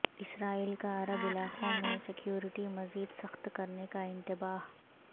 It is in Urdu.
اسرائیل کا عرب علاقوں میں سکیورٹی مزید سخت کرنے کا انتباہ